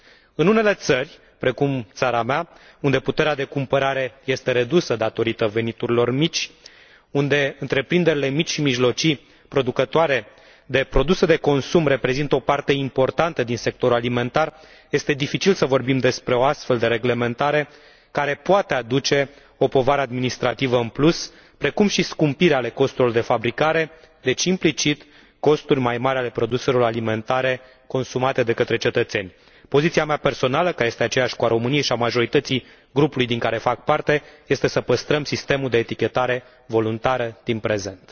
În unele țări, precum țara mea, unde puterea de cumpărare este redusă din cauza veniturilor mici, unde întreprinderile mici și mijlocii producătoare de produse de consum reprezintă o parte importantă din sectorul alimentar, este dificil să vorbim despre o astfel de reglementare care poate aduce o povară administrativă în plus, precum și scumpiri ale costurilor de fabricare, deci, implicit, costuri mai mari ale produselor alimentare consumate de către cetățeni. Poziția mea personală, care este aceeași cu a României și a majorității grupului din care fac parte, este să păstrăm sistemul de etichetare voluntară din prezent.